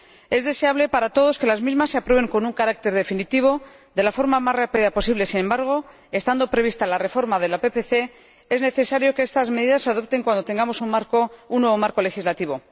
Es deseable para todos que las mismas se aprueben con un carácter definitivo de la forma más rápida posible. Sin embargo, estando prevista la reforma de la Política Pesquera Común, es necesario que estas medidas se adopten cuando tengamos un nuevo marco legislativo.